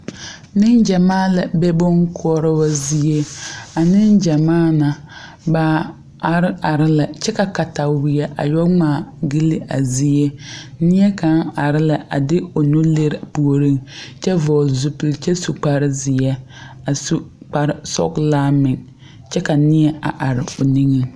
Negyamaa la be bon koɔrobɔ zie. A negyamaa na, ba are are lɛ. Kyɛ ka katawie a yoɔ ŋmaa gyili a zie. Neɛ kang are lɛ a de o nu lire o pooreŋ kyɛ vogle zupul kyɛ su kparo zie a su kpare sɔglaa meŋ. Kyɛ ka neɛ a are o niŋe